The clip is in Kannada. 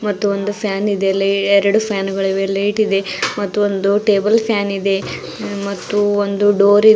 ಮತ್ತು ಒಂದೂ ಫ್ಯಾನ್ ಇದೆ ಲೆ ಎರಡು ಫ್ಯಾನ್ ಗಳಿವೆ ಲೈಟ್ ಇದೆ ಮತ್ತು ಒಂದು ಟೇಬಲ್ ಫ್ಯಾನ್ ಇದೆ ಮತ್ತು ಒಂದು ಡೋರ್ ಇ --